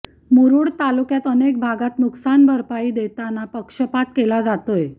मुरुड तालुक्यात अनेक भागात नुकसान भरपाई देताना पक्षपात केला जातोय